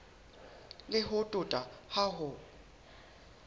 le ho tota ha ho